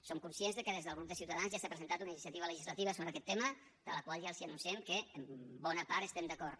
som conscients que des del grup de ciutadans ja s’ha presentat una iniciativa legislativa sobre aquest tema amb la qual ja els anunciem que en bona part estem d’acord